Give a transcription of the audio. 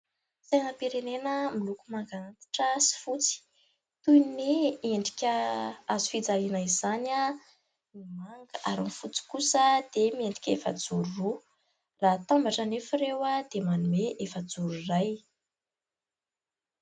Sainam-pirenena miloko manga antitra sy fotsy toy ny endrika hazo fijaliana izany ny manga ary ny fotsy kosa dia miendrika efajoro roa raha hatambatra anefa ireo dia manome efajoro iray